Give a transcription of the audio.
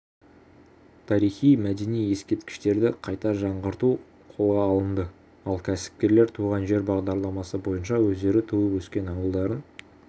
тарихи-мәдени ескерткіштерді қайта жаңғырту қолға алынды ал кәсіпкерлер туған жер бағдарламасы бойынша өздері туып-өскен ауылдарын